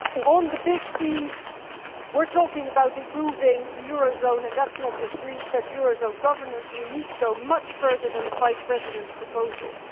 On the big themes, we are talking about improving the eurozone and that is not just Greece, that is eurozone governance and we need to go much further than the five Presidents' proposals.